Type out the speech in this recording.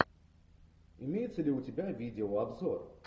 имеется ли у тебя видеообзор